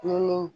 Nun